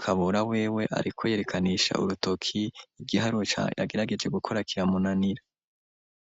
Kabura wewe ariko yerekanisha urutoki igiharuro yagerageje gukora kiramunanira.